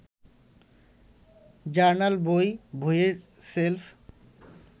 journal, বই, বইয়ের shelf